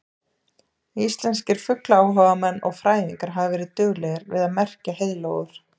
Íslenskir fuglaáhugamenn og fræðingar hafa verið duglegir við að merkja heiðlóur.